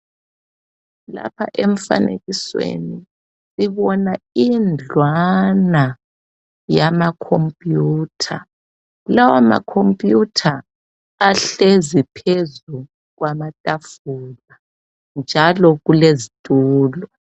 Lapha emfanekisweni sibona indlwana yama computer. Lawa macomputer ahlezi phezulu kwamatafula njalo kulezitulo